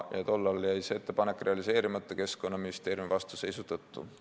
Tollal jäi see ettepanek realiseerimata Keskkonnaministeeriumi vastuseisu tõttu.